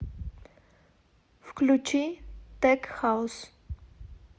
включи тек хаус